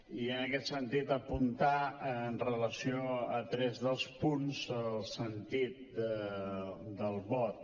i en aquest sentit apuntar amb relació a tres dels punts el sentit del vot